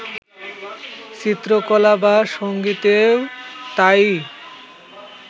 চিত্রকলা বা সংগীতেও তা-ই